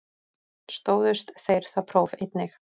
Stóðust þeir það próf einnig